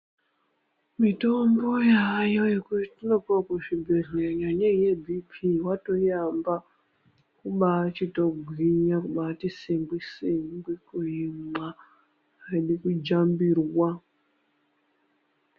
Mitombo yaayo yetinopuwa kuzvibhehlera kunyanya yechirwere cheropa, watoyiamba kubaachitogwinya, kubaati singwi singwi kuimwa, aidi kujambirwa.